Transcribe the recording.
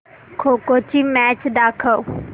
खो खो ची मॅच दाखव